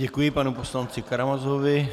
Děkuji panu poslanci Karamazovi.